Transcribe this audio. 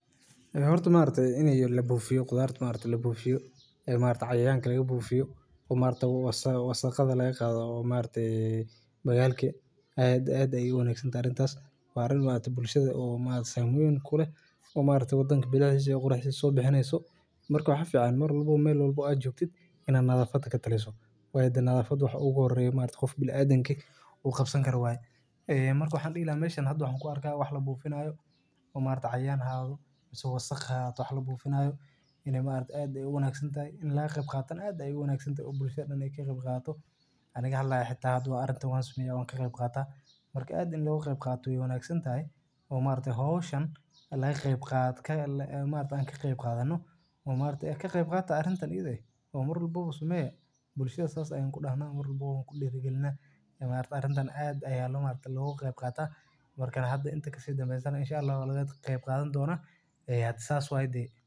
Hortu maarta inay lebuufiyo khudaartu maarta lebuufiyo ee maarta cayaan kale lebuufiyo. Uuma arka wasaa wasakhada la yaqaado umma arday, bagaalkii aad ay ugu naaxi doontaa intaas faaril maata bulshada oo maada sameyn kule uma aragto danbi bilashis iyo quruxiso bixineyso. Markuu xaf ciyaan mar labo meel laboo ajooftid inaad nadaafada ka talaysatoo waa da nadaafadu waxa ugu horeeyay maarka qof bil adinkii uu qabsan karawaayd. Eee markuu xandhila meeshaan haduu xan ku arka wax la buufinayo uma arday cayaan ha aado isaga saqaaxa wax la buufinayo. Inay maarta aad ay ugu naaxi doontay in la qeyb qaatan aad ay ugu naaqsi doontay bulshada anig kheybi qaato. Aniga hadii laexid ah adoo arrinta uga sumee owon ka qeyb qaata marka aad in lagu qeyb qaato iyo naaqsi doontay oo maarta hoosh aan la qeyb qaata ka maarta aan ka qeyb qaadanoo uma arday ka qeyb qaata arrintan iday oo mar labo sumee bulshada saas loo isticmaalo mar labo ku dhigi galnay ama arrintan aad ay halis maarta lagu qeyb qaata. Markaan hadda inta kastoo sida ma salan insha Allah la qeyb qaadan doona had saas waayd.